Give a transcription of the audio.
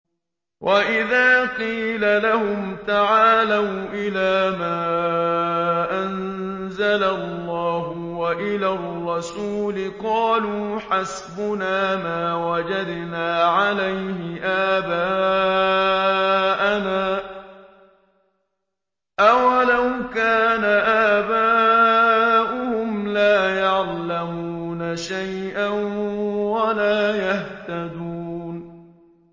وَإِذَا قِيلَ لَهُمْ تَعَالَوْا إِلَىٰ مَا أَنزَلَ اللَّهُ وَإِلَى الرَّسُولِ قَالُوا حَسْبُنَا مَا وَجَدْنَا عَلَيْهِ آبَاءَنَا ۚ أَوَلَوْ كَانَ آبَاؤُهُمْ لَا يَعْلَمُونَ شَيْئًا وَلَا يَهْتَدُونَ